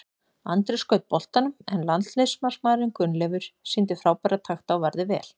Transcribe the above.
Andri skaut boltanum en landsliðsmarkmaðurinn Gunnleifur sýndi frábæra takta og varði vel.